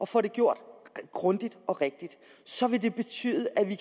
får det gjort grundigt og rigtigt så vil det betyde at vi